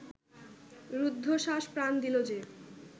রুদ্ধশ্বাসে প্রাণ দিলো যে